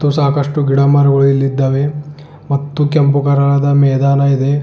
ಸಾಕಷ್ಟು ಗಿಡ ಮರಗಳ್ ಇಲ್ಲಿದ್ದಾವೆ ಮತ್ತು ಕೆಂಪು ಕಲರದ ಮೈದಾನವಿದೆ.